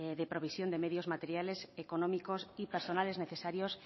de provisión de medios materiales económicos y personales necesarios